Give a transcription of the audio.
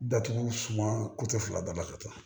Datugu suma fila daba ka ca